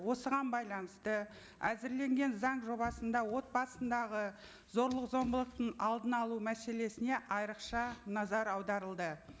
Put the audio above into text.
осыған байланысты әзірленген заң жобасында отбасындағы зорлық зомбылықтың алдын алу мәселесіне айрықша назар аударылды